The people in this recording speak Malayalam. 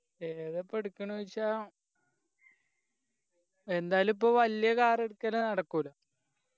എതാപ്പ എടക്കണ ചോയിച്ചാ എന്തായാലും ഇപ്പൊ വല്യ car എടുക്കൽ നടക്കൂല